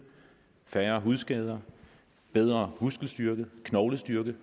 færre hudskader bedre muskelstyrke og knoglestyrke